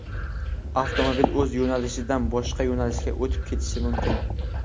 avtomobil o‘z yo‘nalishidan boshqa yo‘nalishga o‘tib ketishi mumkin.